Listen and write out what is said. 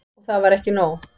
Og það var ekki nóg.